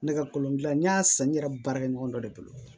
Ne ka kolon gilan n y'a san n yɛrɛ baarakɛ ɲɔgɔn dɔ de bolo